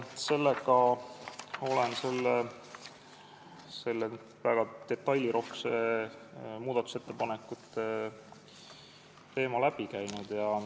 Sellega olen selle väga detailirohke muudatusettepanekute teema läbi käinud.